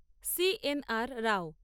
C N R Rao